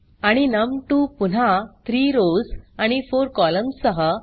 आणि नम2 पुन्हा 3रॉव्स आणि 4कॉलम्न्स सह